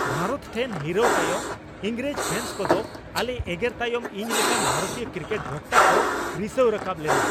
ᱵᱷᱟᱨᱚᱛ ᱴᱷᱮᱱ ᱦᱤᱨᱟᱹᱣ ᱛᱟᱭᱚᱢ ᱤᱝᱨᱮᱡᱽ ᱯᱷᱮᱱᱥ ᱠᱚᱫᱚ ᱟᱞᱮ ᱮᱜᱮᱨ ᱛᱟᱭᱚᱢ ᱤᱧ ᱞᱮᱠᱟᱱ ᱵᱷᱟᱨᱚᱛᱤᱭᱚ ᱠᱨᱤᱠᱮᱴ ᱵᱷᱚᱠᱛᱟ ᱠᱚ ᱨᱤᱥᱟᱹᱣ ᱨᱟᱠᱟᱵ ᱞᱮᱱᱟ ᱾